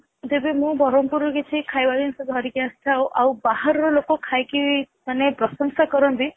ଯଦି ବରମପୁରରୁ ମୁଁ କିଛି ଖାଇବା ଜିନିଷ ଧରିକି ଆସେ ଆଉ ବାହାରର ଲୋକ ଖାଇକି ମାନେ ପ୍ରଶଂସା କରନ୍ତି